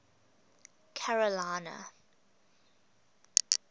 carolina